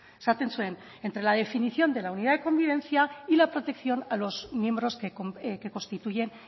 esaten zuen entre la definición de la unidad de convivencia y la protección a los miembros que constituyen